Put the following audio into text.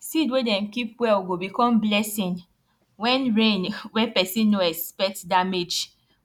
seed wey dem keep well go become blessing wen rain wen pesin nor expect damage